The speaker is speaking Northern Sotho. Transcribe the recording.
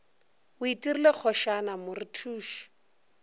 o itirile kgošana mo rethuše